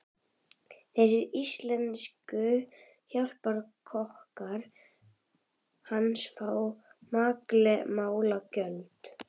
Þessir íslensku hjálparkokkar hans fá makleg málagjöld.